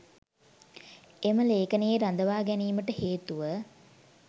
එම ලේඛනයේ රඳවා ගැනීමට හේතුව